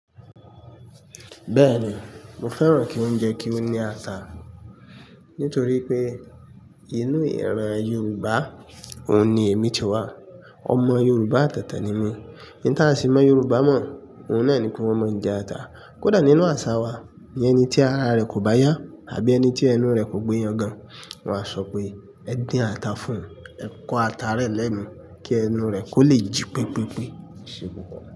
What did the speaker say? Bẹ́ẹ̀ni, mo fẹ́ràn kí óúnjẹ kí ó ní ata. Nítorí pé inú ìran Yoruba òun ni èmi ti wá. Ọmọ Yoruba tètè ni mí. Ín tà sì mọ Yorùbá mọ̀, òun náà ni pé wọ́n mọ ń jẹ ata. Kódà nínú àṣà wa, iyẹn ẹni tí ara rẹ kò bá yá àbí ẹni tí ẹnu rẹ kò gbé yàngan, wọn á sọ pé ẹ dín ata fún un, ẹ kọ ata rẹ lẹ́nu kí ẹnu rẹ kó lè jí pípípí.